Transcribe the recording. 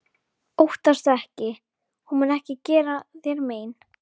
Óttastu ekki- hún mun ekki gera þér mein.